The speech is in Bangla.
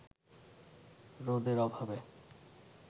রোদের অভাবে